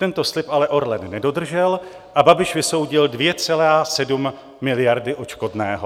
Tento slib ale Orlen nedodržel a Babiš vysoudil 2,7 miliardy odškodného.